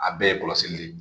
A bɛɛ ye kɔlɔsili de ye.